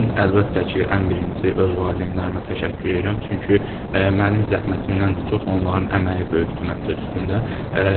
Mən əlbəttə ki, ən birinci öz valideynlərimə təşəkkür edirəm, çünki mənim zəhmətimdən də çox onların əməyi böyükdür məncə üstümdə.